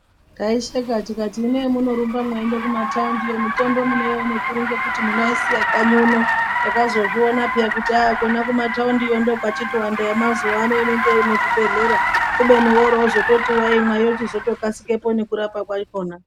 Taisheka tikati hino hemunorumba mweiende kumataundiyo mitombo munoione kuri ngekuti munoisiye kanyi uno, takazozvionapeya kuti aah kona kumataundiyo ndikwo kwatowanda yemazuwa ano innenge iri muzvibhehleya, kubeni woroozoti waimwa yochizoto kasike ngekurapa kwachona.